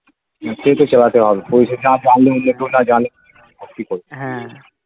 সে তো চালাতে হবে . কেউ না জানুক কি করবো